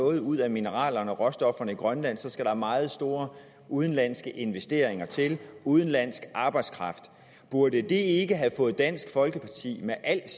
noget ud af mineralerne og råstofferne i grønland skal der meget store udenlandske investeringer til udenlandsk arbejdskraft burde det ikke have fået dansk folkeparti med alt